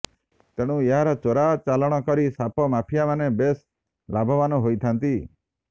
ତେଣୁ ଏହାର ଚୋରା ଚାଲାଣ କରି ସାପ ମାଫିଆମାନେ ବେଶ ଲାଭବାନ ହୋଇଥାନ୍ତି